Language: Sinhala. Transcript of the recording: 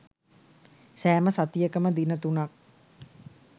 සෑම සතියකම දින තුනක්